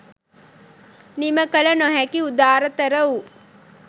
නිම කළ නොහැකි උදාරතර වූ